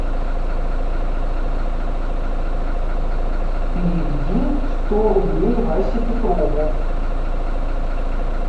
переведи сто рублей васе петрову